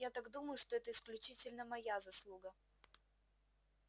я так думаю что это исключительно моя заслуга